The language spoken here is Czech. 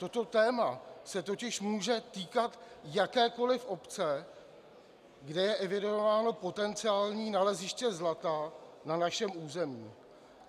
Toto téma se totiž může týkat jakékoli obce, kde je evidováno potenciální naleziště zlata na našem území.